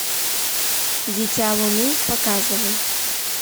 дитя луны показывай